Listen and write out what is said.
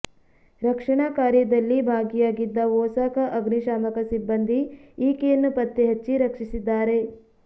ರಕ್ಷಣಾ ಕಾರ್ಯದಲ್ಲಿ ಭಾಗಿಯಾಗಿದ್ದ ಒಸಾಕ ಅಗ್ನಿ ಶಾಮಕ ಸಿಬ್ಬಂದಿ ಈಕೆಯನ್ನು ಪತ್ತೆಹಚ್ಚಿ ರಕ್ಷಿಸಿದ್ದಾರೆ